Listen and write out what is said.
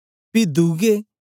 पी दुए